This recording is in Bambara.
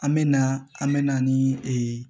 An me na an me na nii